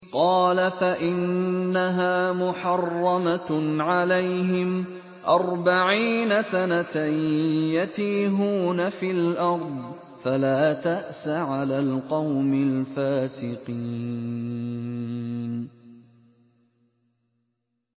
قَالَ فَإِنَّهَا مُحَرَّمَةٌ عَلَيْهِمْ ۛ أَرْبَعِينَ سَنَةً ۛ يَتِيهُونَ فِي الْأَرْضِ ۚ فَلَا تَأْسَ عَلَى الْقَوْمِ الْفَاسِقِينَ